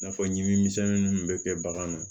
N'a fɔ ɲimisɛnɛ minnu bɛ kɛ bagan na